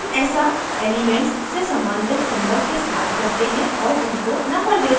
हम ऐसा element से सम्बंधित symbols के साथ करते हैं और उनको number देते हैं